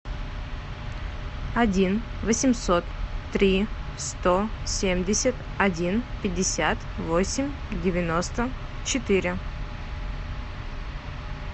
один восемьсот три сто семьдесят один пятьдесят восемь девяносто четыре